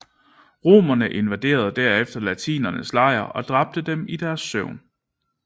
Romerne invaderede derefter latinernes lejr og dræbte dem i deres søvn